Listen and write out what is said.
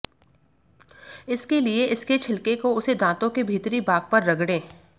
इसके लिए इसके छिलके को उसे दांतों के भीतरी भाग पर रगड़ें